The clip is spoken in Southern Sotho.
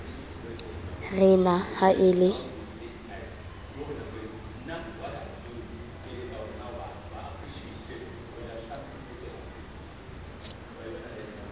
re na ha e le